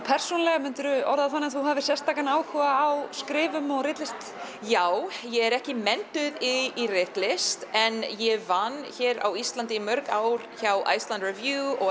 persónulega myndirðu orða það þannig að þú hafir sérstakan áhuga á skrifum og ritlist já ég er ekki menntuð í ritlist en ég vann hér á Íslandi í mörg ár hjá Icelandic Review og